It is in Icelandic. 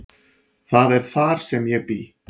Það er þar sem ég bý.